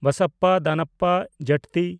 ᱵᱟᱥᱟᱯᱯᱟ ᱫᱟᱱᱟᱯᱯᱟ ᱡᱟᱴᱛᱤ